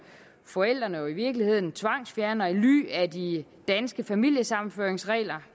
forældrene jo i virkeligheden tvangsfjerner i ly af de danske familiesammenføringsregler